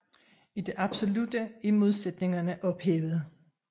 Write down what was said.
I det absolutte er modsætningerne ophævet